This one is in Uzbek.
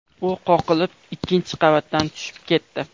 U qoqilib, ikkinchi qavatdan tushib ketdi.